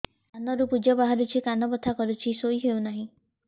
କାନ ରୁ ପୂଜ ବାହାରୁଛି କାନ ବଥା କରୁଛି ଶୋଇ ହେଉନାହିଁ